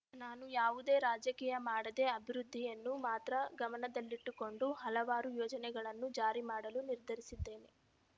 ನಾನು ಯಾವುದೇ ರಾಜಕೀಯ ಮಾಡದೇ ಅಭಿವೃದ್ಧಿಯನ್ನು ಮಾತ್ರ ಗಮನದಲ್ಲಿಟ್ಟುಕೊಂಡು ಹಲವಾರು ಯೋಜನೆಗಳನ್ನು ಜಾರಿ ಮಾಡಲು ನಿರ್ಧರಿಸಿದ್ದೇನೆ